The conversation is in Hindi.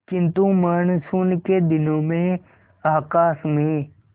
किंतु मानसून के दिनों में आकाश में